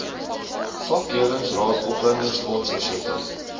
vakleerlingraad opleidingsfonds versekering